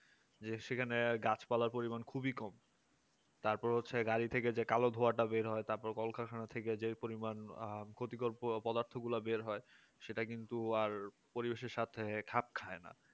যে সেখানে গাছপালার পরিমাণ খুবই কম তারপর হচ্ছে গাড়ি থেকে কালো ধোয়াটা বের হয় তারপরে কল কারখানা থেকে পরিমাণ ও ক্ষতিকার পদার্থগুলো বের হয় সেটা কিন্তু আর পরিবেশের সাথে খাপ খায় না